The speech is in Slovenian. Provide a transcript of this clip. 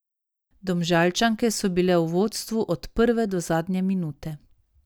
Domžalčanke so bile v vodstvu od prve do zadnje minute.